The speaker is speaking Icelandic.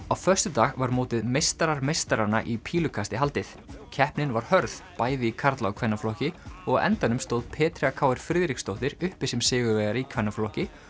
á föstudag var mótið meistarar meistaranna í pílukasti haldið keppnin var hörð bæði í karla og kvennaflokki og á endanum stóð Petrea Friðriksdóttir uppi sem sigurvegari í kvennaflokki